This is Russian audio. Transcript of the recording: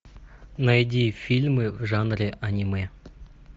найди фильмы в жанре аниме